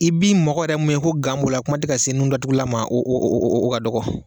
I bi mɔgɔ yɛrɛ mun ye ko gan b'o la kuma tɛ ka se nudatugulan ma o o o o ka dɔgɔ